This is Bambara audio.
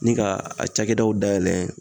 Ni ka a cakɛdaw dayɛlɛ.